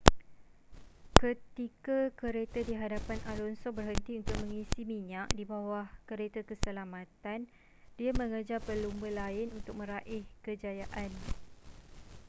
ketika kereta di hadapan alonso berhenti untuk mengisi minyak di bawah kereta keselamatan dia mengejar pelumba lain untuk meraih kejayaan